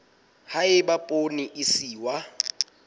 ha eba poone e iswa